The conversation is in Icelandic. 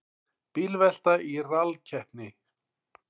Bílvelta í rallkeppni